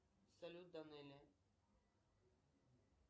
салют данелия